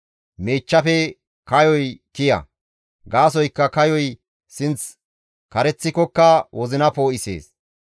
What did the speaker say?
Miichchafe kayoy kiya; gaasoykka kayoy sinth kareththikokka wozina poo7isees.